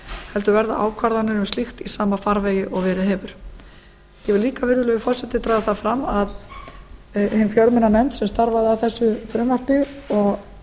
heldur verða ákvarðanir um slíkt í sama farvegi og verið hefur ég vil líka virðulegi forseti draga það fram að hin fjölmenna nefnd sem starfaði að þessu frumvarpi og